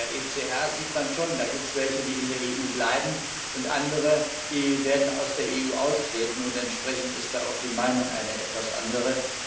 In der ECR sieht man schon, da gibt es welche, die in der EU bleiben, und andere, die aus der EU austreten werden, und entsprechend ist da auch die Meinung eine etwas andere.